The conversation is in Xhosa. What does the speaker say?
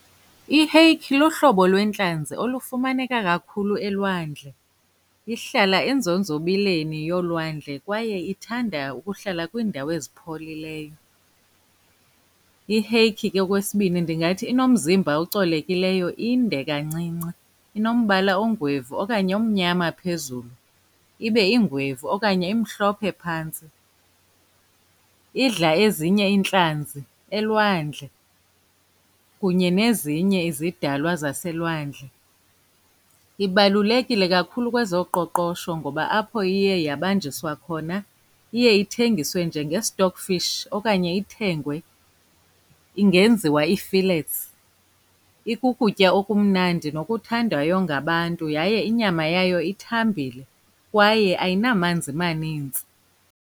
Iheyikhi luhlobo lwentlanzi olufumaneka kakhulu elwandle. Ihlala enzonzobileni yolwandle kwaye ithanda ukuhlala kwiindawo ezipholileyo. Iheyikhi ke, okwesibini, ndingathi inomzimba ocolekileyo, inde kancinci, inombala ongwevu okanye omnyama phezulu, ibe ingwevu okanye imhlophe phantsi. Idla ezinye iintlanzi elwandle kunye nezinye izidalwa zaselwandle. Ibalulekile kakhulu kwezoqoqosho ngoba apho iye yabanjiswa khona iye ithengiswe njenge-stock fish okanye ithengwe, ingenziwa ii-fillets. Ikukutya okumnandi nokuthandwayo ngabantu yaye inyama yayo ithambile kwaye ayinamanzi manintsi.